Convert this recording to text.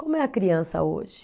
Como é a criança hoje?